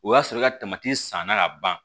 O y'a sɔrɔ i ka san na ka ban